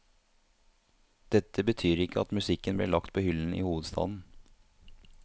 Dette betyr ikke at musikken blir lagt på hyllen i hovedstaden.